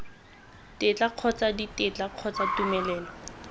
tetla kgotsa ditetla kgotsa tumelelo